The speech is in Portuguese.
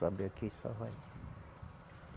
Sobe aqui e só vai.